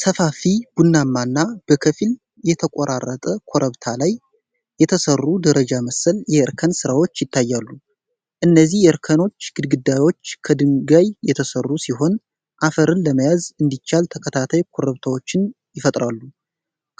ሰፋፊ፣ ቡናማና በከፊል የተራቆተ ኮረብታ ላይ የተሰሩ ደረጃ መሰል የእርከን ስራዎች ይታያሉ። እነዚህ የእርከኖች ግድግዳዎች ከድንጋይ የተሠሩ ሲሆን፣ አፈርን ለመያዝ እንዲቻል ተከታታይ ኩርባዎችን ይፈጥራሉ።